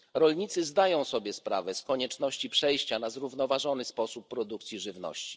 Rolnicy zdają sobie sprawę z konieczności przejścia na zrównoważony sposób produkcji żywności.